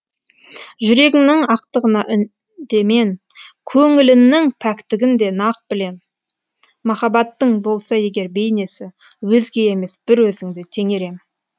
жүрегіңнің ақтығына үндемен көңіліннің пәктігін де нақ білем махаббаттың болса егер бейнесі өзге емес бір өзіңді теңер ем